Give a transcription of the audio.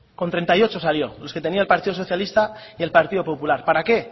con treinta y ocho salió los que tenía el partido socialista y el partido popular para qué